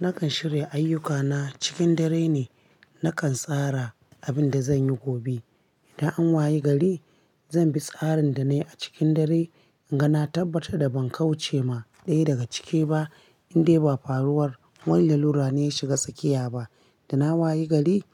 Nakan shirya ayyukana cikin dare ne, nakan tsara abinda zanyi gobe. Idan an waye gari, zanbi tsarin danayi cikin dare, inga na tabbatar da bankauce ma ɗaya daga cike ba, indai ba faruwar wani lalura ne ya shiga tsakiya ba. Dana wayi gari,